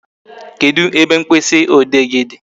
Kedụ ebe mkpịsị ode gị dị?